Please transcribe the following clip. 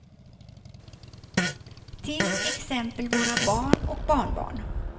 Till exempel våra barn och barnbarn.